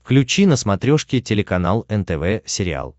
включи на смотрешке телеканал нтв сериал